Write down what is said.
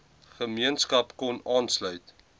gemeenskap kon aanlsuit